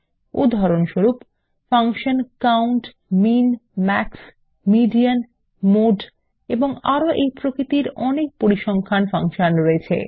উদাহরণস্বরূপ function count min max median mode এবং আরো এই প্রকৃতির অনেক পরিসংখ্যান ফাংশন রয়েছে